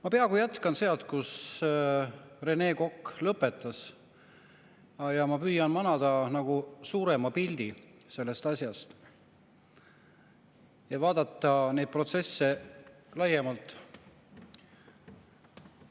Ma peaaegu jätkan sealt, kus Rene Kokk lõpetas, ja püüan manada nagu suurema pildi sellest asjast ja vaadata neid protsesse laiemalt.